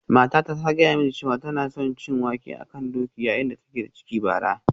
Matata ta gaya mini cewa tana son cin wake a kan doki yayin da take da ciki a bara